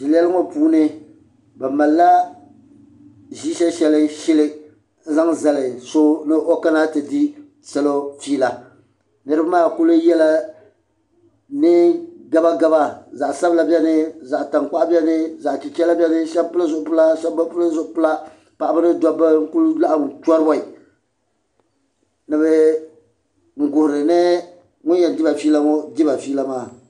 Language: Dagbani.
Zileli ŋɔ puuni bɛ malila ʒishee sheli n zali so ni o kana ti di fiila niriba maa kuli yela niɛn gaba gaba zaɣa sabila biɛni zaɣa tankpaɣu zaɣa chichera biɛni sheba pili zipila sheba bi pili zipila paɣaba mini dabba n kuli laɣim choriboi n guhini ŋun yen diba fiila maa diba fiila maa.